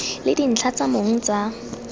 le dintlha tsa mong tsa